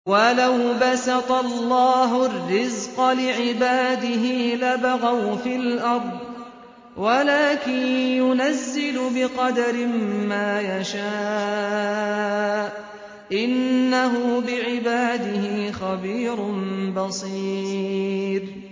۞ وَلَوْ بَسَطَ اللَّهُ الرِّزْقَ لِعِبَادِهِ لَبَغَوْا فِي الْأَرْضِ وَلَٰكِن يُنَزِّلُ بِقَدَرٍ مَّا يَشَاءُ ۚ إِنَّهُ بِعِبَادِهِ خَبِيرٌ بَصِيرٌ